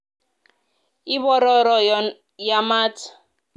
ibororo yon yaamaat